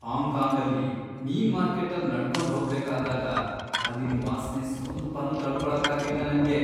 ಹಾಂಗ್ಕಾಂಗಲ್ಲಿ ಮೀನ್ ಮಾರ್ಕೆಟ್ಟಲ್ ನಡ್ಕೊಂಡ್ ಹೋಗ್ಬೇಕಾದಾಗ ಅಲ್ಲಿನ್ ವಾಸ್ನೆ ಸ್ವಲ್ಪನೂ ತಡ್ಕೊಳಕ್ಕಾಗ್ಲಿಲ್ಲ ನಂಗೆ.